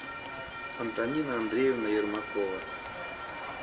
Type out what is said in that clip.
антонина андреевна ермакова